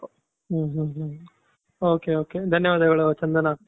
ಹು ಹು ok ok ಧನ್ಯವಾದಗಳು ಚಂದನ.